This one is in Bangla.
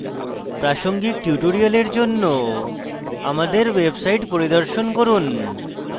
প্রাসঙ্গিক tutorials জন্য আমাদের website পরিদর্শন করুন